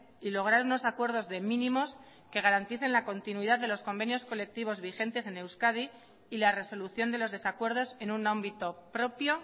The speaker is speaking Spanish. y lograr unos acuerdos de mínimos que garanticen la continuidad de los convenios colectivos vigentes en euskadi y la resolución de los desacuerdos en un ámbito propio